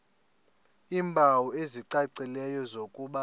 iimpawu ezicacileyo zokuba